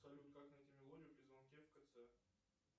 салют как найти мелодию при звонке в кц